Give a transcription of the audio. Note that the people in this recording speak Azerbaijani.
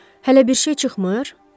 Hələ bir şey çıxmır?